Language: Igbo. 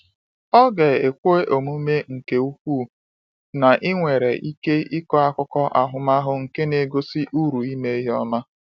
Ọ ga-ekwe omume nke ukwuu na ị nwere ike ịkọ akụkọ ahụmahụ nke na-egosi uru ime ihe ọma.